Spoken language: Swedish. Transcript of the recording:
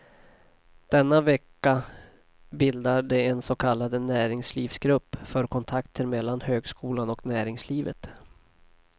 Denna vecka bildar de en så kallad näringslivsgrupp för kontakter mellan högskolan och näringslivet.